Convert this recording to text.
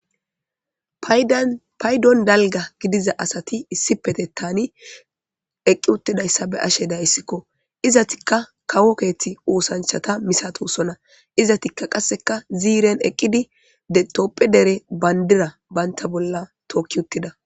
Paydon dalga gidiza asati issipete tani eqqi uttidayssa be ashe dayssikko izatikka kawo keethti uosanchata misatosona izatikka qasseka ziiren eqqidi dtopphe dere bandira baynta bolla tookki uttida.